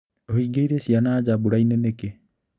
ũhingĩire ciana nja mburainĩ nĩkĩ?